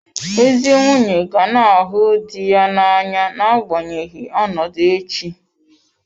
Ezi nwunye ga na-ahụ di ya n'anya n'agbanyeghị ọnọdụ echi.